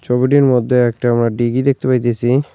মধ্যে একটা আমরা ডিগি দেখতে পাইতেসি।